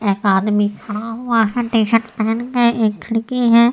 एक आदमी खड़ा हुआ है टी-शर्ट पहनकर। एक खिड़की है।